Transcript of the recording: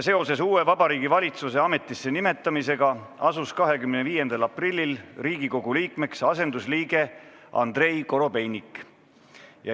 Seoses uue Vabariigi Valitsuse ametisse nimetamisega asus 25. aprillil Riigikogu liikmeks asendusliige Andrei Korobeinik.